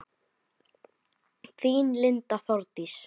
Þín Linda Þórdís.